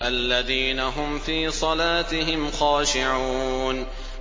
الَّذِينَ هُمْ فِي صَلَاتِهِمْ خَاشِعُونَ